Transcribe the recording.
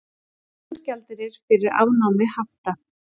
Nægur gjaldeyrir fyrir afnámi hafta